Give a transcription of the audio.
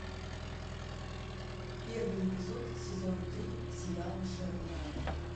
первый эпизод сезон три сериала шерлок